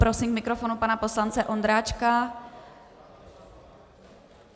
Prosím k mikrofonu pana poslance Ondráčka.